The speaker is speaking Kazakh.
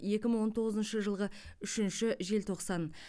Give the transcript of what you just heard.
екі мың он тоғызыншы жылғы үшінші желтоқсан